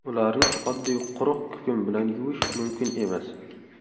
Ularni oddiy quruq kukun bilan yuvish mumkin emas.